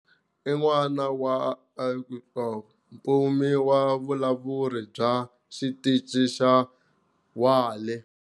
I n'wana wa Olette, mupfuni wa vulawuri bya xitichi xa whale.